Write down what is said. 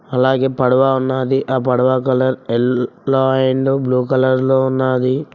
అలాగే పడవ ఉన్నాది ఆ పడవ colour yellow and blue colour లో ఉన్నాది.